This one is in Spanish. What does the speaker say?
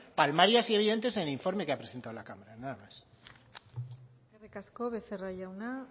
palmarias y evidentes en el informe que ha presentado la cámara nada más eskerrik asko becerra jauna